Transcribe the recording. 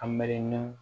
A miiri na